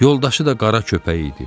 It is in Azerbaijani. Yoldaşı da qara köpək idi.